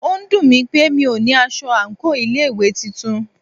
Ó dùnmí pé mí o ní aṣọ àńkò ilé ìwé titun.